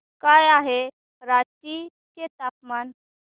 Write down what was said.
काय आहे रांची चे तापमान